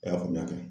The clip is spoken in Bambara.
I y'a faamuya